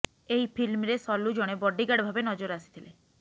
ଏହି ଫିଲ୍ମରେ ସଲୁ ଜଣେ ବଡିଗାର୍ଡ ଭାବେ ନଜର ଆସିଥିଲେ